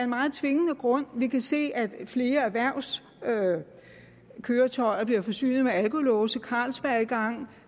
meget tvingende grund vi kan se at flere erhvervskøretøjer bliver forsynet med alkolåse carlsberg er i gang